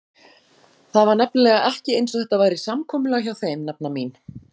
Það var nefnilega ekki einsog þetta væri samkomulag hjá þeim, nafna mín.